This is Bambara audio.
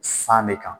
San ne kan